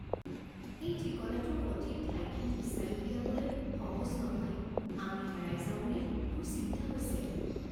এই ঠিকনাটোৰ সঠিক ঠাইখিনি বিচাৰি উলিয়াবলৈ সহজ নহয়। আমি হেৰাই যাওঁ বুলি মোৰ চিন্তা হৈছে।